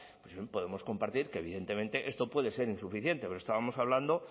podemos compartir que evidentemente esto puede ser insuficiente pero estábamos hablando